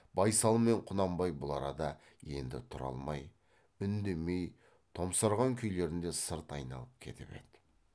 байсал мен құнанбай бұл арада енді тұра алмай үндемей томсарған күйлерінде сырт айналып кетіп еді